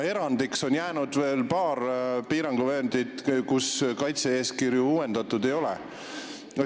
Erandiks on veel paar piiranguvööndit, kus kaitse-eeskirju uuendatud ei ole.